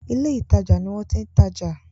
ilé ìtajà ní wón ti ń tadò